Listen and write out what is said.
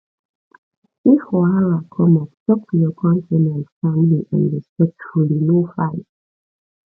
if wahala come up talk to your co ten ant calmly and respectfully no fight